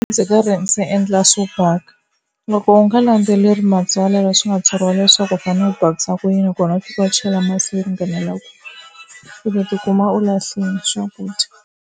Ndzi karhi ndzi endla swo baka. Loko u nga landzeleli matsalwa leswi nga tsariwa leswaku u fanele u bakisa ku yini kona u tlhela u chela masi yo ringanela kwihi u ta ti kuma u lahlile swakudya.